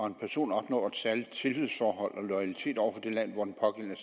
en person opnår et særligt tillidsforhold og loyalitet over for det land hvor den pågældende